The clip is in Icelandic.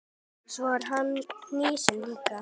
Svo er hann hnýsinn líka.